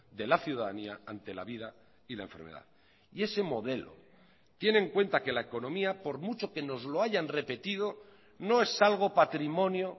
de la ciudadanía ante la vida y la enfermedad y ese modelo tiene en cuenta que la economía por mucho que nos lo hayan repetido no es algo patrimonio